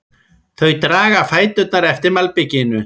Þau draga fæturna eftir malbikinu.